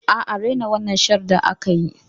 Aa, Rina Shaddar aka yi